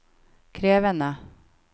krevende